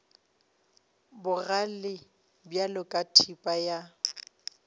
bogale bjalo ka thipa ya